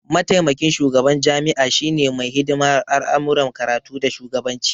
Maitamakin shugaban jami'a shine mai hidimar al'amuran karatu da shugabanci